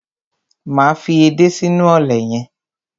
Máa fi edé sínú ọ̀lẹ̀ yẹn.